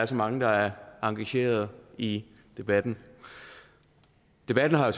så mange der er engageret i debatten debatten har